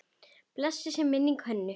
Blessuð sé minning Hönnu.